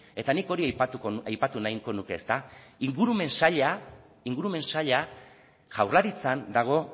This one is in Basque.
eta nik hori aipatu nahiko nuke ezta ingurumen saila jaurlaritzan dago